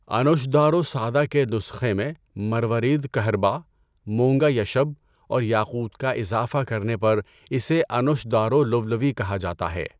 انوشدارو سادہ کے نسخے میں مروارید کہرباء، مونگا یشب اور یاقوت کا اِضافہ کرنے پر اِسے انوشدارو لُولُوی کہا جاتا ہے۔